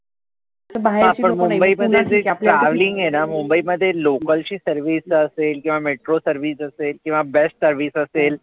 हा पण मुंबईच जे traveling आहेना मुंबईमध्ये local ची service असेल किंवा metro service असेल, किंवा bus service असेल,